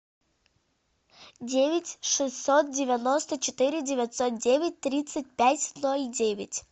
девять шестьсот девяносто четыре девятьсот девять тридцать пять ноль девять